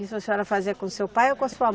Isso a senhora fazia com o seu pai ou com a sua